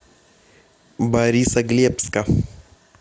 борисоглебска